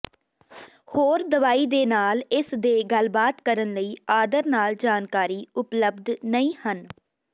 ਹੋਰ ਦਵਾਈ ਦੇ ਨਾਲ ਇਸ ਦੇ ਗੱਲਬਾਤ ਕਰਨ ਲਈ ਆਦਰ ਨਾਲ ਜਾਣਕਾਰੀ ਉਪਲਬਧ ਨਹੀ ਹਨ